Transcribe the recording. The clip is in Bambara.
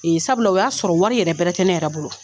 Nin sabula o y'a sɔrɔ wari yɛrɛ bɛrɛ tɛ ne yɛrɛ bolo